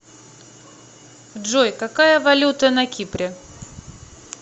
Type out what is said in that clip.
джой какая валюта на кипре